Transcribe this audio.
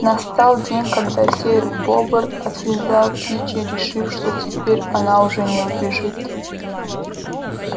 настал день когда серый бобр отвязал кичи решив что теперь она уже не убежит